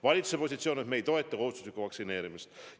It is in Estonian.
Valitsuse positsioon on, et me ei toeta kohustuslikku vaktsineerimist.